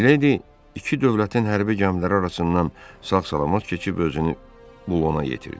Miledi iki dövlətin hərbi gəmiləri arasından sağ-salamat keçib özünü Bulona yetirdi.